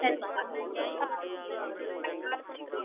next one